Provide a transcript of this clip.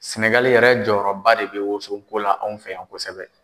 Sɛnɛgali yɛrɛ jɔyɔrɔba de bɛ woso ko la anw fɛ yan kosɛbɛ.